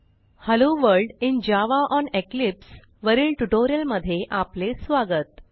hello world in Java on Eclipse वरील ट्युटोरियलमध्ये आपले स्वागत